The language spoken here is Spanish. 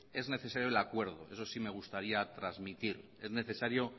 es necesario el acuerdo eso sí me gustaría transmitir es necesario